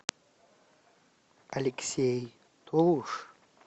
алексей толуш